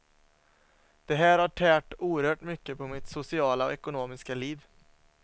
Det här har tärt oerhört mycket på mitt sociala och ekonomiska liv.